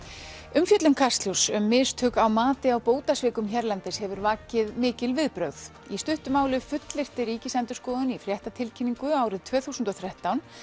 umfjöllun Kastljóss um mistök á mati á bótasvikum hérlendis hefur vakið mikil viðbrögð í stuttu máli fullyrti Ríkisendurskoðun í fréttatilkynningu árið tvö þúsund og þrettán